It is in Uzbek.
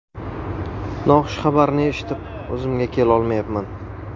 Noxush xabarni eshitib, o‘zimga kelolmayapman.